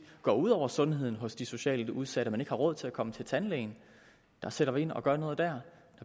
går ud over sundheden hos de socialt udsatte fordi de ikke har råd til at komme til tandlægen der sætter vi ind og gør noget der